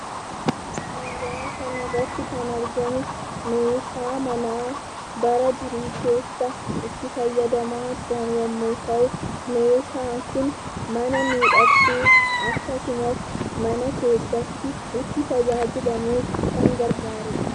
Suuraa kanarratti kan argamu, meeshaa manaa bara durii keessa itti fayyadamaa turan yemmu ta'u, meeshaan kun mana miidhagsuu, akkasumas, mana keessatti itti tajaajilamuuf kan gargaaruudha.